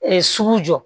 sugu jɔ